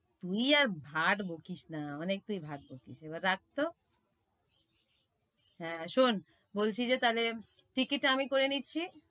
তুই আর ভাট বকিস না, অনেক তুই ভাট বকিস এবার রাখতো। হ্যাঁ, শোন বলছি যে তাইলে টিকিটটা আমি করে নিচ্ছি।